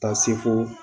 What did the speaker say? Ka se fo